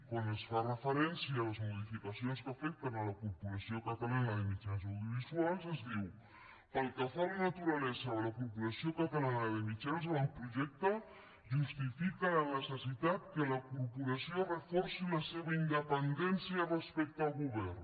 quan es fa referència a les modificacions que afecten la corporació catalana de mitjans audiovisuals es diu pel que fa a la naturalesa de la corporació catalana de mitjans l’avantprojecte justifica la necessitat que la corporació reforci la seva independència respecte al govern